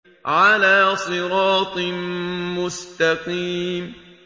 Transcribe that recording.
عَلَىٰ صِرَاطٍ مُّسْتَقِيمٍ